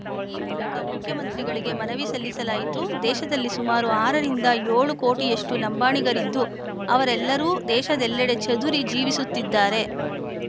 ಆ ಮೂಲಕ ಮುಖ್ಯಮಂತ್ರಿಗಳಿಗೆ ಮನವಿ ಸಲ್ಲಿಸಲಾಯಿತು ದೇಶದಲ್ಲಿ ಸುಮಾರು ಆರು ರಿಂದ ಏಳು ಕೋಟಿಯಷ್ಟು ಲಂಬಾಣಿಗರಿದ್ದು ಅವರೆಲ್ಲರೂ ದೇಶದೆಲ್ಲೆಡೆ ಚದುರಿ ಜೀವಿಸುತ್ತಿದ್ದಾರೆ